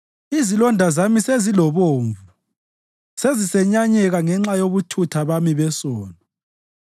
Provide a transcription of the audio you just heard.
Izilonda zami sezilobovu sezisenyanyeka ngenxa yobuthutha bami besono.